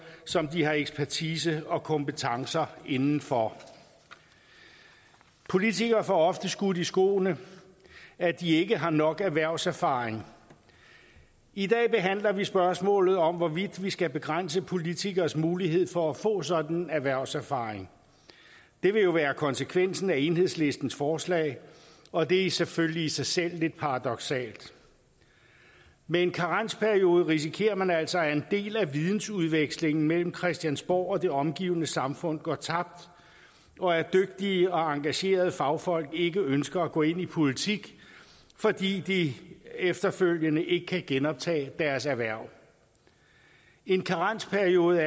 som de har ekspertise og kompetencer inden for politikere får ofte skudt i skoene at de ikke har nok erhvervserfaring i dag behandler vi spørgsmålet om hvorvidt vi skal begrænse politikeres mulighed for at få en sådan erhvervserfaring det vil jo være konsekvensen af enhedslistens forslag og det er selvfølgelig i sig selv lidt paradoksalt med en karensperiode risikerer man altså at en del af vidensudvekslingen mellem christiansborg og det omgivende samfund går tabt og at dygtige og engagerede fagfolk ikke ønsker at gå ind i politik fordi de efterfølgende ikke kan genoptage deres erhverv en karensperiode